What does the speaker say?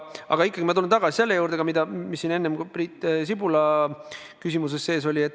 Aga ikkagi ma tulen tagasi selle juurde, mis siin enne Priit Sibula küsimuses sees oli.